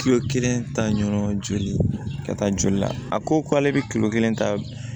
Kilo kelen ta ɲɔgɔn joli ka taa joli la a ko k'ale bɛ kilo kelen ta